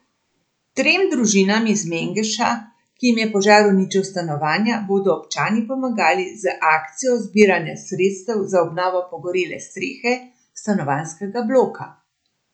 Trem družinam iz Mengša, ki jim je požar uničil stanovanja, bodo občani pomagali z akcijo zbiranja sredstev za obnovo pogorele strehe stanovanjskega bloka.